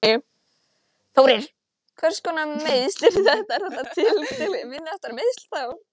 Þórir: Hvers konar meiðsl eru þetta, er þetta tiltölulega, minniháttar meiðsli þá?